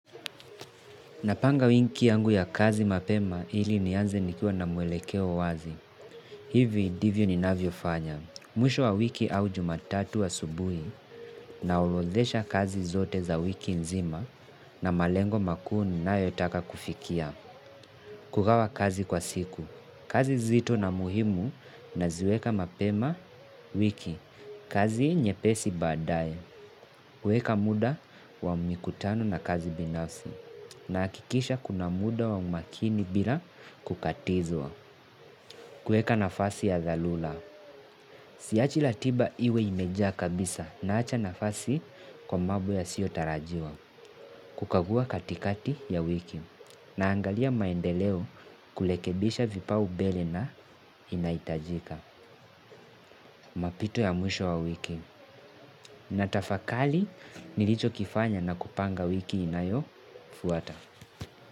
Napanga wiki yangu ya kazi mapema ili nianze nikiwa na muelekeo wazi. Hivi ndivyo ni navyo fanya. Mwisho wa wiki au jumatatu asubuhi na orodhesha kazi zote za wiki nzima na malengo makuun na yotaka kufikia. Kugawa kazi kwa siku. Kazi nzito na muhimu naziweka mapema wiki. Kazi nyepesi baadae. Weka muda wa mikutano na kazi binafsi. Na hakikisha kuna muda wa makini bila kukatizwa. Kuweka nafasi ya dharula. Siachi ratiba iwe imejaa kabisa na acha nafasi kwa mambo yasio tarajiwa. Kukagua katikati ya wiki. Na angalia maendeleo kurekebisha vipaumbele na inaitajika. Mapito ya mwisho wa wiki. Natafakari nilicho kifanya na kupanga wiki inayo fuata.